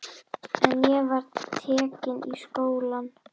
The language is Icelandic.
En ég var tekin í skólann.